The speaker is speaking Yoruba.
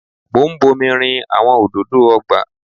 Mo ń bomi rin àwọn òdòdó ọgbà.